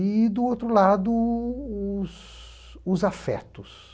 E, do outro lado, o os os afetos.